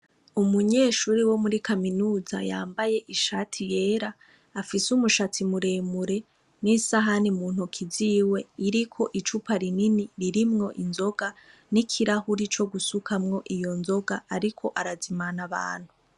Umunyeshure wo muri kaminuza yambaye ishati yera, afise umushatsi muremure n'isahani muntoki ziwe iriko icupa rinini ririmwo inzoga, n'ikirahure co gusukamwo iyo nzoga, ariko arazimana abantu.